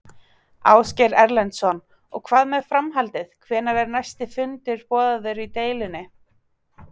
Ásgeir Erlendsson: Og hvað með framhaldið, hvenær er næsti fundur boðaður í deilunni?